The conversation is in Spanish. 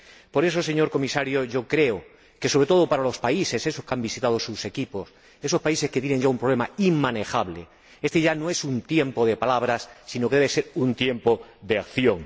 Por eso, señor Comisario, yo creo que, sobre todo para los países, esos que han visitado sus equipos, esos países que tienen ya un problema inmanejable, este ya no es un tiempo de palabras, sino que debe ser un tiempo de acción.